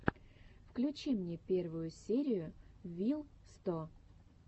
включи мне первую серию вил сто